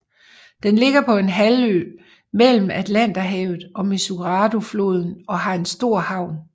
Den ligger på en halvø mellem Atlanterhavet og Mesuradofloden og har en stor havn